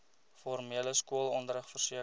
formele skoolonderrig verseker